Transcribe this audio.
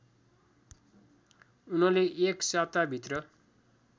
उनले एक साताभित्र